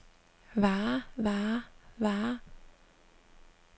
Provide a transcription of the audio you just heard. varer varer varer